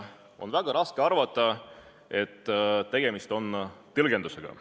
On väga raske arvata, et tegemist on tõlgendusega.